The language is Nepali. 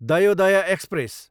दयोदय एक्सप्रेस